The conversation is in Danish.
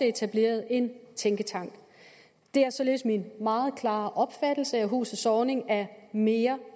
etableret en tænketank det er således min meget klare opfattelse at huset zornig er mere